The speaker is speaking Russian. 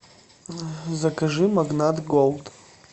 закажи магнат голд